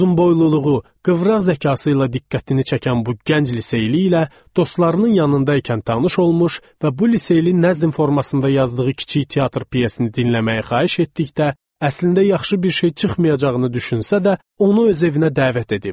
Uzunboyluluğu, qıvraq zəkası ilə diqqətini çəkən bu gənc liseyli ilə dostlarının yanında ikən tanış olmuş və bu liseyli nəzm formasında yazdığı kiçik teatr pyesini dinləməyi xahiş etdikdə, əslində yaxşı bir şey çıxmayacağını düşünsə də, onu öz evinə dəvət edib.